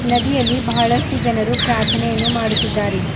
ನದಿಯಲ್ಲಿ ಬಹಳಷ್ಟು ಜನರು ಪ್ರಾರ್ಥನೆಯನ್ನು ಮಾಡುತ್ತಿದ್ದಾರೆ.